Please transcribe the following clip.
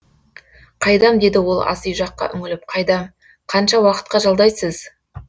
қайдам деді ол асүй жаққа үңіліп қайдам қанша уақытқа жалдайсыз